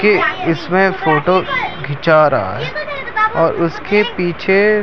कि इसमें फोटो खिचा रहा है और उसके पीछे --